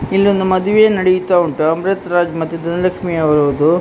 ಇಲ್ಲೊಂದು ಮದುವೆ ನಡಿಯುತ್ತಾ ಉಂಟು. ಅಮೃತ್ ರಾಜ್ ಮತ್ತು ಧನಲಕ್ಷ್ಮೀ ಅವರದ್ದು.